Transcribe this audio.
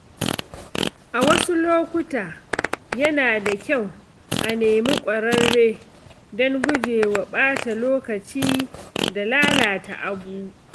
A wasu lokuta, yana da kyau a nemi ƙwararre don gujewa ɓata lokaci da lalata abu.